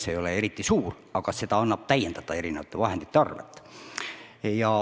See ei ole eriti suur, aga seda annab täiendada erinevate vahendite arvelt.